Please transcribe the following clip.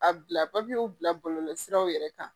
A bila papiyew bila bɔlɔlɔsiraw yɛrɛ kan